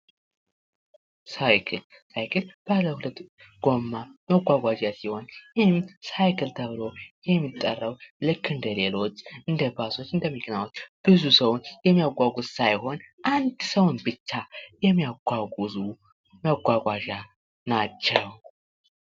ሳይክል ሳይክል ባለ ሁለት ጎማ መጓጓዣ ሲሆን ይህም ሳይክል ተብሎ የሚጠራው እንደ ሌሎች እንደ ባሶች እንደ መኪናዎች ብዙ ሰዉን የሚያጓጉዝ ሳይሆን አንድ ሰውን ብቻ የሚያጓጉዙ መጓጓዣ ናቸው።